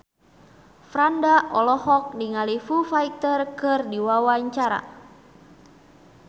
Franda olohok ningali Foo Fighter keur diwawancara